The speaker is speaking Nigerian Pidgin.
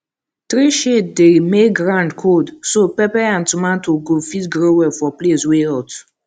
tree shade dey make ground cold so pepper and tomato go fit grow well for place wey hot